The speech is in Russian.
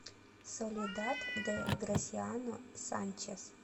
соледад де грасиано санчес